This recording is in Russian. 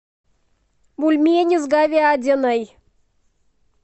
бульмени с говядиной